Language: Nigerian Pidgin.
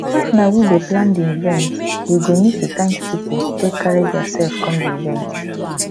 if na we dey plan di event we go need to thank pipo wey carry their self come di event